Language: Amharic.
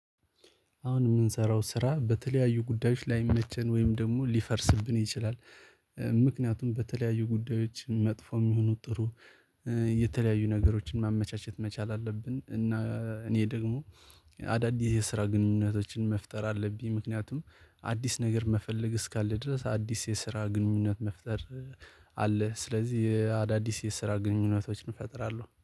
አሁን የምንሰራው ስራ በተለያዩ ጉዳዮች ላይመቸን ወይም ደግሞ ሊፈርስብን ይችላል። ምክንያቱም በተለያዩ ጉዳዮች መጥፎም ይሁኑ ጥሩ የተለያዩ ነገሮችን ማመቻቸት መቻል አለብን። እና እኔ ደግሞ አዳዲስ የስራ ግንኙነቶችን መፍጠር አለብኝ። ምክንያቱም አዲስ ነገር መፈለግ እስካለ ድረስ አዲስ የስራ ግንኙነት መፍጠር አለ ስለዚህ አዳዲስ የስራ ግንኙነቶችን እፈጥራለሁ